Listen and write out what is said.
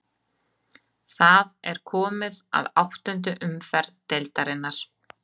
Það er komið að áttundu umferð deildarinnar.